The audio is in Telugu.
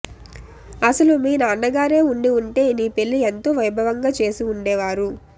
అసలు మీ నాన్నగారే ఉండి ఉంటే నీ పెళ్ళి ఎంతో వైభవంగా చేసి ఉండేవారు